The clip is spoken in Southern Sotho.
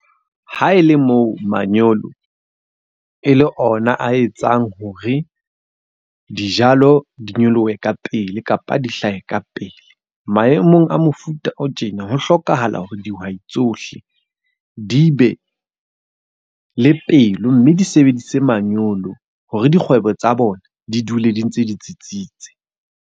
Ha e le moo manyolo e le ona a etsang hore dijalo di nyolohe ka pele, kapa di hlahe ka pele. Maemong a mofuta o tjena, ho hlokahala hore dihwai tsohle di be le pelo mme di sebedise manyolo hore dikgwebo tsa bona di dule di ntse di tsitsitse.